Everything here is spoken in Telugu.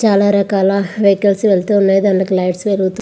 చాలా రకాల వెహికల్స్ వెళ్తూ ఉన్నాయి. దాని మీద లైట్స్ వెలుగుతు--